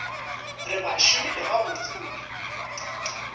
re ba šomile gabotse mola